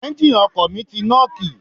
Ẹ́ńgìnì ọkọ̀ mi ti nọ́ọ̀kì.